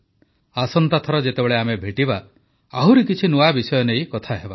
ଆସନ୍ତା ଥର ଯେତେବେଳେ ଆମେ ଭେଟିବା ଆହୁରି କିଛି ନୂଆ ବିଷୟ ନେଇ କଥା ହେବା